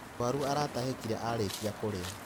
Mũruaru aratahĩkire arĩkia kũrea.